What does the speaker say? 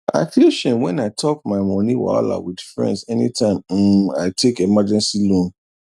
i feel shame when i talk my money wahala with friends anytime um i take emergency loan